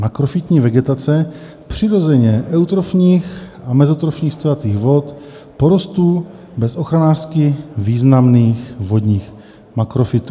Makrofytní vegetace přirozeně eutrofních a mezotrofních stojatých vod, porosty bez ochranářsky významných vodních makrofytů.